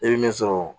E bɛ min sɔrɔ